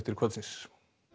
kvöldsins